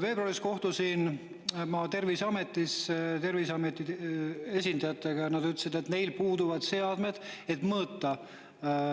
Veebruaris kohtusin ma Terviseameti esindajatega, kes ütlesid, et neil puuduvad seadmed, et mõõta